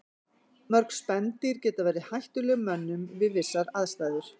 Mörg spendýr geta verið hættuleg mönnum við vissar aðstæður.